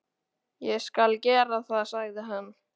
Ég skal gera það, sagði hann.